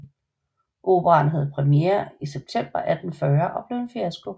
Operaen havde premiere i september 1840 og blev en fiasko